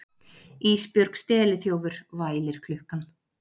Ísbjörg steliþjófur, vælir klukkan.